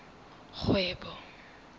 kgwebo